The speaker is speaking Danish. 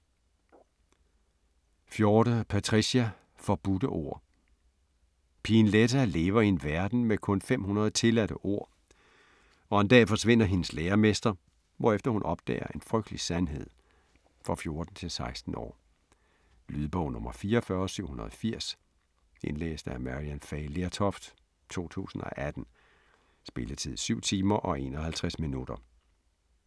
Forde, Patricia: Forbudte ord Pigen Letta lever i en verden med kun 500 tilladte ord, og en dag forsvinder hendes læremester, hvorefter hun opdager en frygtelig sandhed. For 14-16 år. Lydbog 44780 Indlæst af Maryann Fay Lertoft, 2018. Spilletid: 7 timer, 51 minutter.